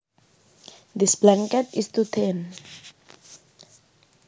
This blanket is too thin